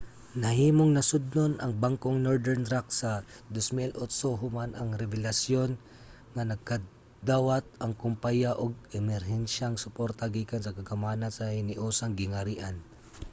nahimong nasodnon ang bangkong northern rock sa 2008 human ang rebelasyon nga nakadawat ang kumpaya og emerhensiyang suporta gikan sa kagamhanan sa hiniusang gingharian